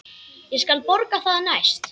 Ég skal borga það næst.